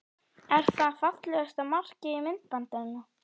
Er það fallegasta markið í myndbandinu?